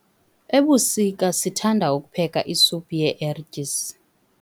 Ebusika sithanda ukupheka isuphu yee-ertyisi.